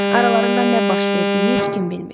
Aralarında nə baş verdiyini heç kim bilmir.